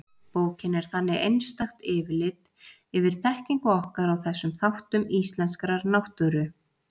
Bókin er þannig einstakt yfirlit yfir þekkingu okkar á þessum þáttum íslenskrar náttúru.